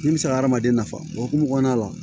Min bɛ se ka hadamaden nafa o hokumu kɔnɔna la